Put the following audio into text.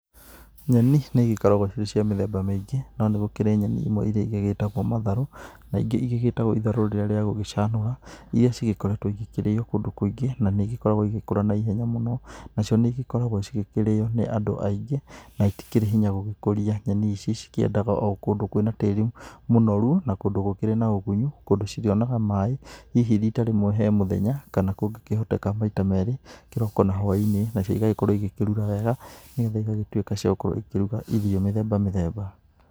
Nyeni nĩ igĩkoragwo cirĩ cia mĩthemba mĩingĩ no nĩgũkĩrĩ nyeni imwe iria igĩtagwo matharũ, na ingĩ igĩgĩtagwo itharũ rĩrĩa rĩa gũgĩcanũra iria igĩkoretwo igĩkĩrĩo kũndũ kũingĩ. Na nĩ ĩgĩkoragwo igĩgĩkora ihenya mũno nacio nĩ cigĩkoragwo cigĩkĩrĩo nĩ andũ aingĩ na itikĩrĩ hinya gũgĩkũria. Nyeni ici cikĩendaga o kũndũ kwĩna tĩri mũnoru na kũndũ kwĩna ũgunyu, kũndũ cirĩonaga maaĩ hihi rita rĩmwe he mũthenya, kana kũngĩhoteka maita merĩ kĩroko na hwai-inĩ. Nĩ getha cigagĩkorwo igĩkĩrura wega nĩ getha cigagĩtuĩka cia gũkorwo ikĩruga irio mĩthemba mĩthemba.